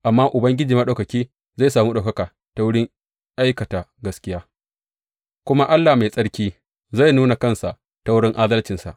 Amma Ubangiji Maɗaukaki zai sami ɗaukaka ta wurin aikata gaskiya, kuma Allah mai tsarki zai nuna kansa ta wurin adalcinsa.